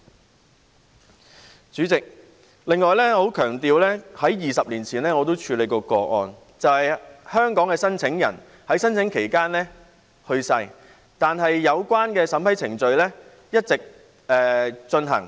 此外，主席，我要強調我在20年前也曾處理過一些個案，是香港的申請人在申請期間去世，但有關的審批程序一直進行。